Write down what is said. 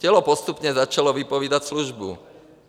Tělo postupně začalo vypovídat službu.